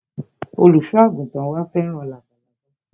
Olùsọ àgùntàn wa fẹ́ràn labalábá